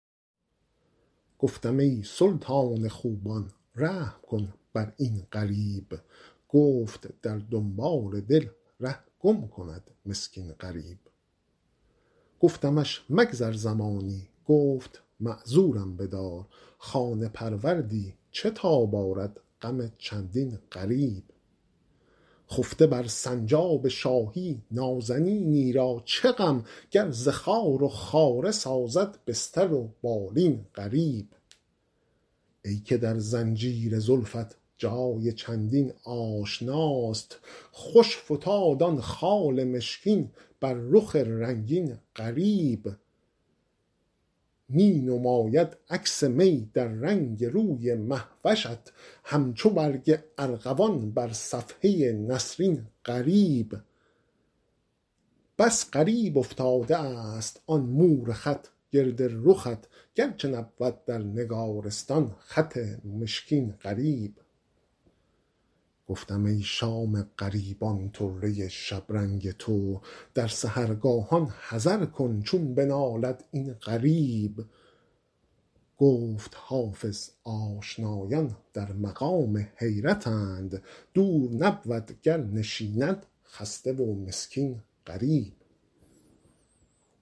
گفتم ای سلطان خوبان رحم کن بر این غریب گفت در دنبال دل ره گم کند مسکین غریب گفتمش مگذر زمانی گفت معذورم بدار خانه پروردی چه تاب آرد غم چندین غریب خفته بر سنجاب شاهی نازنینی را چه غم گر ز خار و خاره سازد بستر و بالین غریب ای که در زنجیر زلفت جای چندین آشناست خوش فتاد آن خال مشکین بر رخ رنگین غریب می نماید عکس می در رنگ روی مه وشت همچو برگ ارغوان بر صفحه نسرین غریب بس غریب افتاده است آن مور خط گرد رخت گرچه نبود در نگارستان خط مشکین غریب گفتم ای شام غریبان طره شبرنگ تو در سحرگاهان حذر کن چون بنالد این غریب گفت حافظ آشنایان در مقام حیرتند دور نبود گر نشیند خسته و مسکین غریب